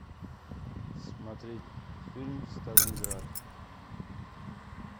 смотреть фильм сталинград